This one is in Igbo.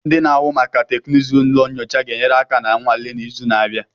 Ndị na-ahụ maka teknụzụ ụlọ nyocha ga-enyere aka na nnwale n'izu na-abịa.